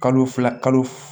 Kalo fila kalo